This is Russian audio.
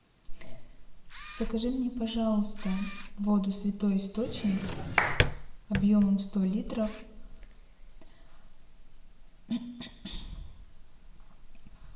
закажи мне пожалуйста воду святой источник объемом сто литров